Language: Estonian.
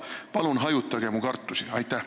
Palun hajutage mu kartusi!